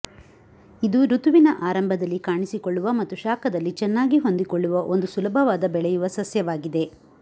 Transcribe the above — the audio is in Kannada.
ಇದು ಋತುವಿನ ಆರಂಭದಲ್ಲಿ ಕಾಣಿಸಿಕೊಳ್ಳುವ ಮತ್ತು ಶಾಖದಲ್ಲಿ ಚೆನ್ನಾಗಿ ಹೊಂದಿಕೊಳ್ಳುವ ಒಂದು ಸುಲಭವಾದ ಬೆಳೆಯುವ ಸಸ್ಯವಾಗಿದೆ